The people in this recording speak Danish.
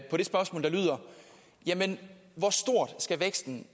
på det spørgsmål der lyder jamen hvor stor skal væksten